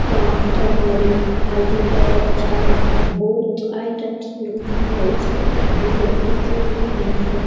अअ turmeric हल्दी powder चावल बहुत आइटम्स मिलता है इस पर आदमी लगू कोई भी नहीं है।